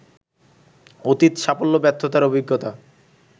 অতীত সাফল্য ব্যর্থতার অভিজ্ঞতা